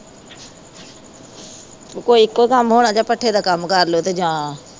ਉਹਦੇ ਕੋਲੋਂ ਇੱਕੋ ਕੰਮ ਹੋਣਾ ਜਾਂ ਭੱਠੇ ਦਾ ਕੰਮ ਕਰ ਲਉ ਤੇ ਜਾਂ